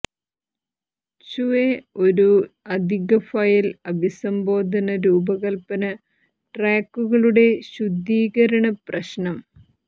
ചുഎ ഒരു അധിക ഫയൽ അഭിസംബോധന രൂപകൽപ്പന ട്രാക്കുകളുടെ ശുദ്ധീകരണ പ്രശ്നം